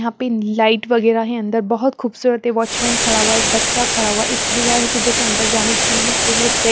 यहाँ पे लाइट वगेरा हैं अंदर बहुत खुबसूरत एक वाचमैन खड़ा हुआ हैं एक बच्चा खड़ा हुआ हैं एक भैया हैं जो की अंदर जाने जिन्होंने पूरे पे --